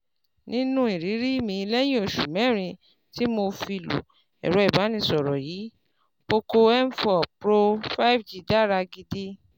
Nínú ìrírí mi lẹ́yìn oṣù mẹ́rin tí mo fi lo ẹ̀rọ ìbánisọ̀rọ̀ yìí, Poco M four Pro five G dára gidi